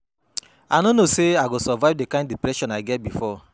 I no know say I go survive the kin depression I get before.